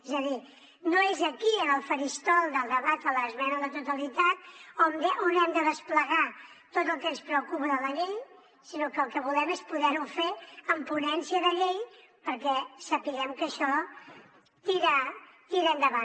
és a dir no és aquí en el faristol del debat de l’esmena a la totalitat on hem de desplegar tot el que ens preocupa de la llei sinó que el que volem és poder ho fer en ponència de llei perquè sapiguem que això tira endavant